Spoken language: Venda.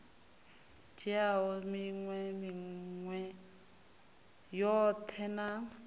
dzhiaho minwe minwe yoṱhe na